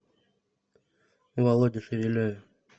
володе шевелеве